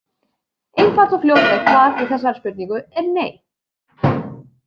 Einfalt og fljótlegt svar við þessari spurningu er nei.